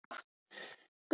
Ég beið og beið og beið!